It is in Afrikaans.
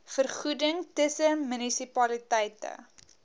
vergoeding tussen munisipaliteite